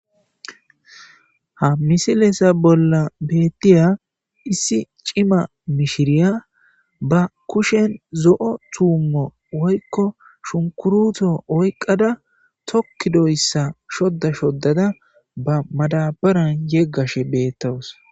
Ha misilesa bolla beettiya issi cima mishiriya ba kushen zo'o tuummo woykko shunkuruto oyqqada tokkidoyssa shodda shoddada ba madabaran yeggashe beettowos.